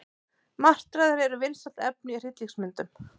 Martraðir eru vinsælt efni í hryllingsmyndum.